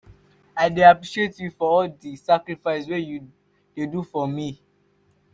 i dey appreciate you for all di sacrifices wey you dey do for me.